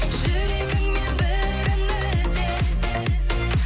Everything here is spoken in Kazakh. жүрегіңнен бірін ізде